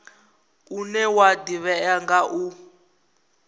une wa ḓivhea nga u